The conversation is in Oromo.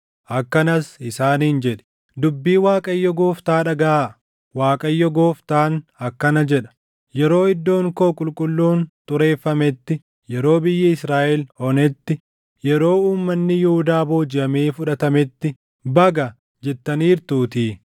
Akkanas isaaniin jedhi; ‘Dubbii Waaqayyo Gooftaa dhagaʼaa. Waaqayyo Gooftaan akkana jedha: Yeroo iddoon koo qulqulluun xureeffametti, yeroo biyyi Israaʼel onetti, yeroo uummanni Yihuudaa boojiʼamee fudhatametti, “Baga!” jettaniirtuutii;